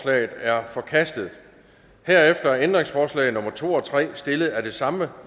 er forkastet herefter er ændringsforslag nummer to og tre stillet af det samme